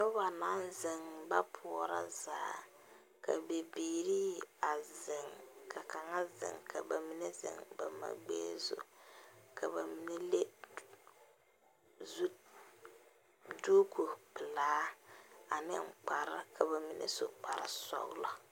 Noba naŋ zeŋ ba poɔrɔ zaa ka bibiiri zeŋ ka kaŋa zeŋ ka ba mine zeŋ ba ma mine gbɛɛ zu ka ba mine leŋ zu duku pelaa ane kpare ka ba mine su kparesɔglɔ.